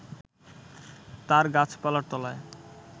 তার গাছপালার তলায়